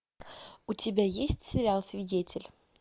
у тебя есть сериал свидетель